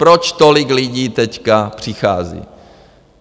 Proč tolik lidí teď přichází?